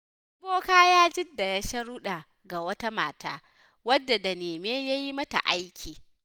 Wani boka ya gindaya sharuɗa ga wata mata. wadda da nemi ya yi mata aiki.